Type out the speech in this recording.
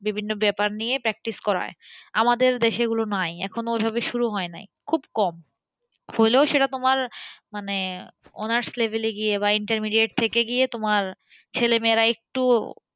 বিভিন্ন ব্যাপার নিয়ে practice করায়, আমাদের দেশে এগুলো নাই এখন ঐভাবে শুরু হয় নাই খুব কম হলেও সেটা তোমার মানে honours level এ গিয়ে বা intermediate থেকে গিয়ে তোমার ছেলেমেয়েরা একটু,